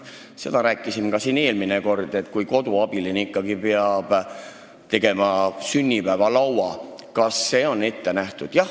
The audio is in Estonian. Seda rääkisin ma siin ka eelmine kord, et kui koduabiline peab tegema sünnipäevalaua, siis kas see on ette nähtud.